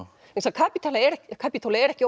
Kapítóla er Kapítóla er ekki